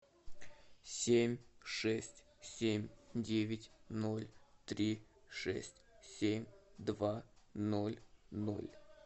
семь шесть семь девять ноль три шесть семь два ноль ноль